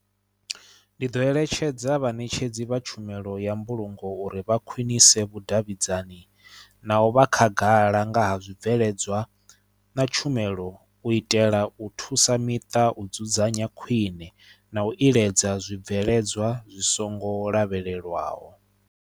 Ndi ḓo eletshedza vhaṋetshedzi vha tshumelo ya mbulungo uri vha khwinise vhudavhidzani na u vha khagala nga ha zwibveledzwa na tshumelo u itela u thusa miṱa u dzudzanya khwine na u iledza zwibveledzwa zwi songo lavhelelwaho.